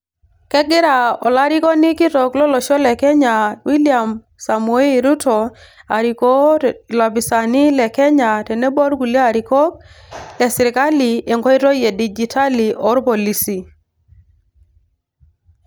kegira olarikoni kitok lolosho le kenya William samoei ruto arikoo ilopisaani le kenya tenebo workulie arikok lesirkali enkoitoi e dijitali oorpolisi.